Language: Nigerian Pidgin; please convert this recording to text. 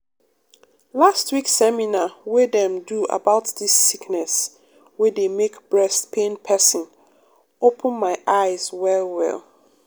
last week seminar wey dem do about dis sickness wey dey make breast pain pesin open my eyes well well.